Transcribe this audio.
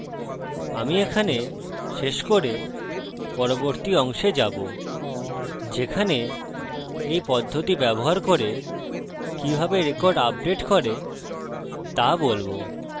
আমি এখানে শেষ করে পরবর্তী অংশে যাবো যেখানে এই পদ্ধতি ব্যবহার করে কিভাবে রেকর্ড আপডেট করে তা বলবো